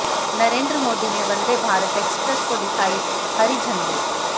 नरेंद्र मोदी ने वंदे भारत एक्सप्रेस को दिखाई हरी झंडी